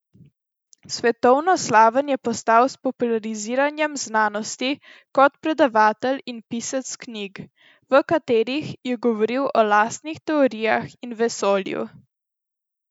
Svetovno slaven je postal s populariziranjem znanosti kot predavatelj in pisec knjig, v katerih je govoril o lastnih teorijah in vesolju.